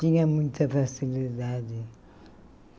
Tinha muita facilidade.